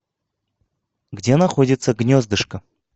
где находится гнездышко